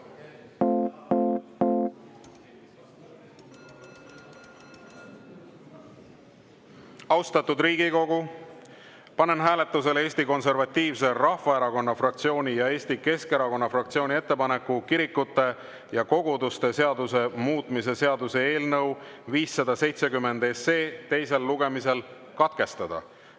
Austatud Riigikogu, panen hääletusele Eesti Konservatiivse Rahvaerakonna fraktsiooni ja Eesti Keskerakonna fraktsiooni ettepaneku kirikute ja koguduste seaduse muutmise seaduse eelnõu 570 teine lugemine katkestada.